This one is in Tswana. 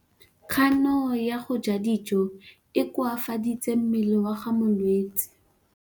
Kganô ya go ja dijo e koafaditse mmele wa molwetse.